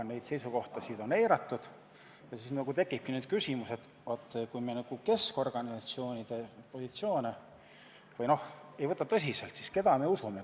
Neid seisukohti on eiratud ja seetõttu tekibki küsimus, et kui me ka keskorganisatsioonide positsioonidesse ei suhtu tõsiselt, siis keda me usume.